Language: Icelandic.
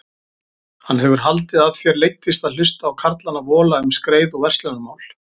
Hann hefur haldið að þér leiddist að hlusta á karlana vola um skreið og verslunarmál.